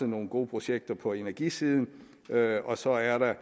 nogle gode projekter på energisiden og så er der